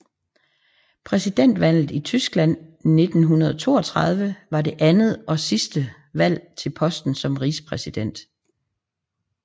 Præsidentvalget i Tyskland 1932 var det andet og sidste valg til posten som rigspræsident